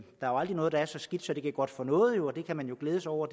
aldrig noget der er så skidt at det ikke er godt for noget og det kan man jo glæde sig over